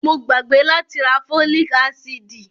Mo ti gbàgbé láti rá fólíc ásídì.